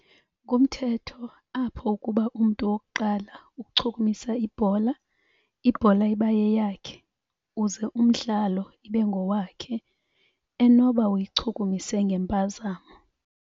Ngumthetho apho ukuba umntu wokuqala ukuchukumisa ibhola, ibhola iba yeyakhe uze umdlalo ibe ngowakhe. Enoba uyichukumise ngempazamo.